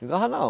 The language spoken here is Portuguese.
Ligava não.